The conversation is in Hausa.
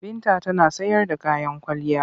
Binta tana sayar da kayan kwalliya.